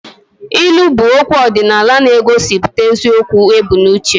Ilu bụ okwu ọdịnala na-egosipụta eziokwu ebu n'uche